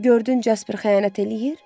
Gördün Jasper xəyanət eləyir?